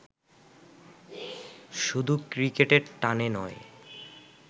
শুধু ক্রিকেটের টানে নয়